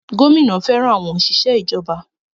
Gómìnà fẹràn àwọn òṣìṣẹ́ ìjọba.